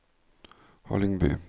Hallingby